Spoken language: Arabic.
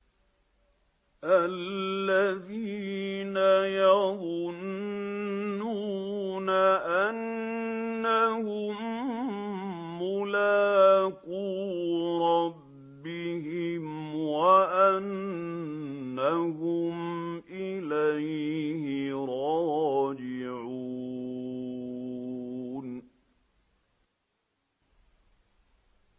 الَّذِينَ يَظُنُّونَ أَنَّهُم مُّلَاقُو رَبِّهِمْ وَأَنَّهُمْ إِلَيْهِ رَاجِعُونَ